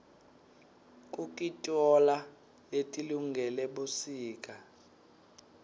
kukitoala letilungele busika